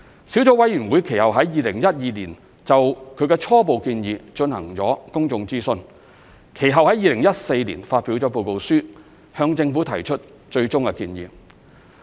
小組委員會其後於2012年就其初步建議進行公眾諮詢，其後於2014年發表報告書，向政府提出最終建議。